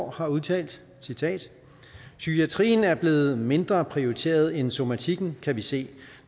har udtalt citat psykiatrien er blevet mindre prioriteret end somatikken kan vi se